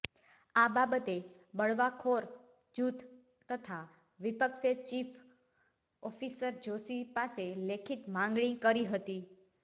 આ બાબતે બળવાખોર જૂથ તથા વિપક્ષે ચીફ ઓફિસર જોષી પાસે લેખિત માંગણી કરી હતી